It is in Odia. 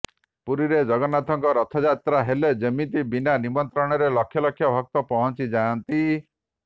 ପୁରୀରେ ଜଗନ୍ନାଥଙ୍କ ରଥଯାତ୍ରା ହେଲେ ଯେମିତି ବିନା ନିମନ୍ତ୍ରଣରେ ଲକ୍ଷ ଲକ୍ଷ ଭକ୍ତ ପହଞ୍ଚିଯାଆନ୍ତି